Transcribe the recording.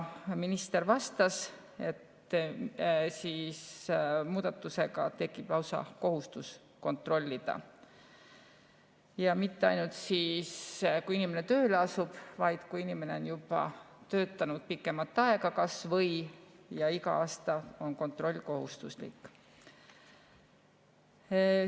Minister vastas, et muudatusega tekib lausa kohustus kontrollida ja mitte ainult siis, kui inimene tööle asub, vaid ka siis, kui inimene on töötanud kas või juba pikemat aega, iga aasta on kontroll kohustuslik.